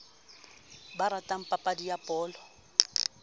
ba ratang papadi ya bolo